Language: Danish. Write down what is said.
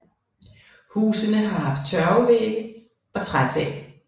Husene har haft tørvevægge og trætag